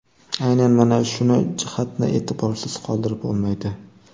Aynan mana shuni jihatni e’tiborsiz qoldirib bo‘lmaydi.